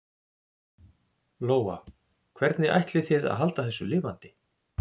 Lóa: Hvernig ætlið þið að halda þessu lifandi?